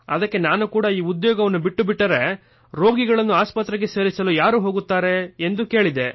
ಅದಕ್ಕೆ ನಾನು ಕೂಡ ಈ ಉದ್ಯೋಗ ಬಿಟ್ಟುಬಿಟ್ಟರೆ ರೋಗಿಗಳನ್ನು ಆಸ್ಪತ್ರೆಗೆ ಸೇರಿಸಲು ಯಾರು ಹೋಗುತ್ತಾರೆ ಎಂದು ಕೇಳಿದೆ